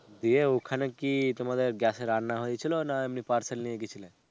দিয়ে ওখানে কি তোমাদের gas এ রান্না হয়েছিল না এমনি parcel নিয়ে গেছিলে?